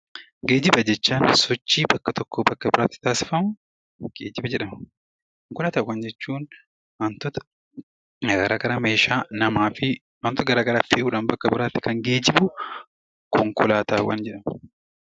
Geejjiba jechaan sochii bakka tokkoo bakka biraatti taasifamu 'Geejjiba' jedhama. Konkolaataawwan jechuun wantoota garaa garaa meeshaa, nama fi wantoota gara garaa fe'uu dhaan kan geejibu 'Konkolaataawwan' jedhama.